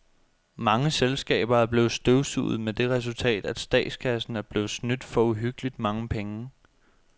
Mange selskaber er blevet støvsuget med det resultat, at statskassen er blevet snydt for uhyggeligt mange penge.